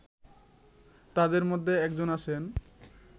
তাদের মধ্যে একজন আছেন